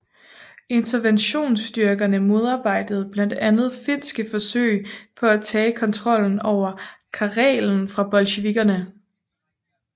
Interventionsstyrkerne modarbejdede blandt andet finske forsøg på at tage kontrollen over Karelen fra bolsjevikkerne